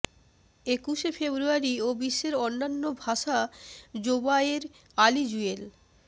একুশে ফেব্রুয়ারি ও বিশ্বের অন্যান্য ভাষা জোবায়ের আলী জুয়েল